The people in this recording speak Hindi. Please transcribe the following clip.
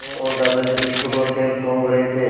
मैं और दादाजी बिस्कुट और सेब टूँग रहे थे